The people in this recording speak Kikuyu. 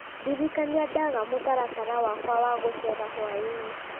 ndirikania ndaga mũtaratara wakwa wa gũcera hwaĩ-inĩ